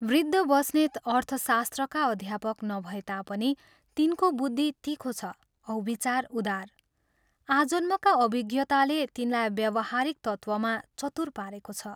वृद्ध बस्नेत अर्थशास्त्रका अध्यापक नभए तापनि, तिनको बुद्धि तीखो छ औ विचार उदार आजन्मका अभिज्ञताले तिनलाई व्यावहारिक तत्त्वमा चतुर पारेको छ।